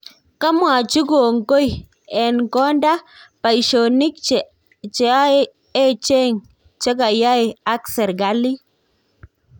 Kamwachi kongoi ,"en kondak paishonik che echeng chekeyae ak serkalit